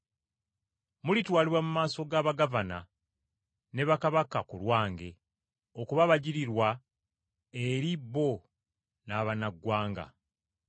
Mulitwalibwa mu maaso ga bagavana ne bakabaka ku lwange, okuba abajulirwa eri bo n’abannaggwanga.